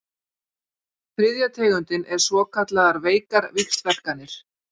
Þriðja tegundin er svokallaðar veikar víxlverkanir.